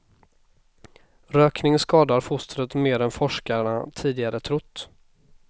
Rökning skadar fostret mer än forskarna tidigare trott.